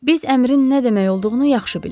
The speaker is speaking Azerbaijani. Biz əmrin nə demək olduğunu yaxşı bilirik.